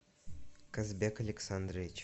казбек александрович